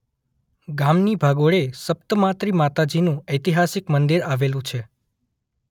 ગામની ભાગોળે સપ્તમાત્રિ માતાજીનું ઐતિહાસિક મંદિર આવેલું છે.